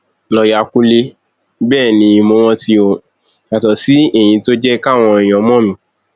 lọọyà kúnlẹ bẹẹ ni mo rántíó yàtọ sí èyí tó jẹ káwọn èèyàn mọ mí